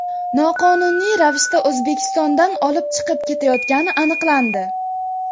noqonuniy ravishda O‘zbekistondan olib chiqib ketayotgani aniqlandi.